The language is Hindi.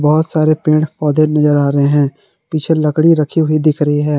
बहुत सारे पेड़ पौधे नजर आ रहे हैं पीछे लकड़ी रखी हुई दिख रही है।